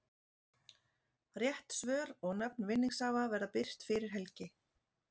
Rétt svör og nöfn vinningshafa verða birt fyrir helgi.